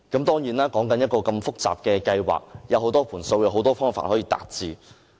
當然這麼複雜的計劃，有很多"盤數"、很多方法可以達致。